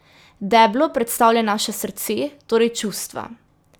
Deblo predstavlja naše srce, torej čustva.